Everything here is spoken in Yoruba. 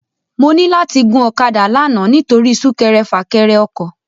Mò ni làti gún òkàdá làná nitóri súkèrè fâkèrè òkò